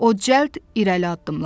O cəld irəli addımladı.